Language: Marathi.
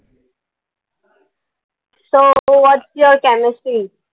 so whats your chemistry?